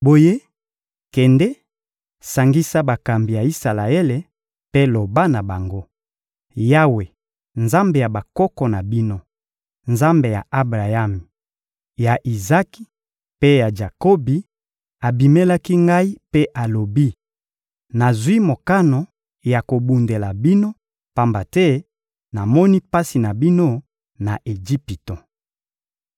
Boye, kende, sangisa bakambi ya Isalaele mpe loba na bango: «Yawe, Nzambe ya bakoko na bino, Nzambe ya Abrayami, ya Izaki mpe ya Jakobi, abimelaki ngai mpe alobi: ‹Nazwi mokano ya kobundela bino, pamba te namoni pasi na bino na Ejipito.›»